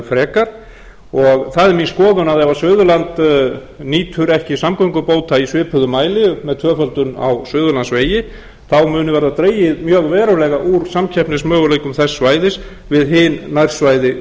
frekar og það er mín skoðun að ef suðurland nýtur ekki samgöngubóta í svipuðum mæli með tvöföldun á suðurlandsvegi þá muni verða dregið mjög verulega úr samkeppnismöguleikum þess svæðis við hin nærsvæði